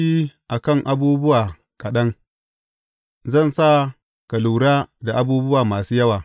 Ka yi aminci a kan abubuwa kaɗan, zan sa ka lura da abubuwa masu yawa.